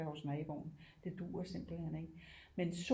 Være hos naboen det duer simpelthen ikke men